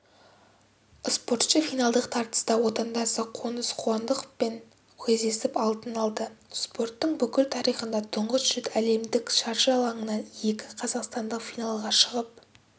спортшы финалдық тартыста отандасы қоныс қуандықовпен кездесіп алтын алды спорттың бүкіл тарихында тұңғыш рет әлемдік шаршы алаңына екі қазақстандық финалға шығып